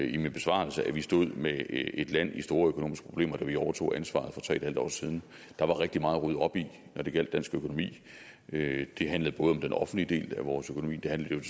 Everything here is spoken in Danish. i min besvarelse at vi stod med et land i store økonomiske problemer da vi overtog ansvaret for tre en halv år siden der var rigtig meget at rydde op i når det gjaldt dansk økonomi det handlede både om den offentlige del af vores økonomi det handlede